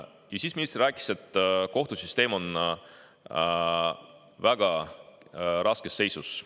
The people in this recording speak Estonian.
Ja siis minister rääkis, et kohtusüsteem on väga raskes seisus.